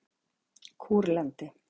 Kúrlandi